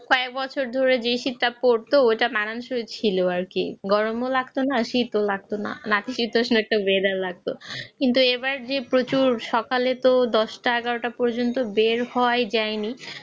চার বছর ধরে যে সিটটা করতো মানুষের ছিল আর কি গর্ব লাগত না শিত লাগত না। শীতে এত কিন্তু এবার যে প্রচুর ভালো তো দশটা এগারোটা পর্যন্ত বের হওয়া যায়নি।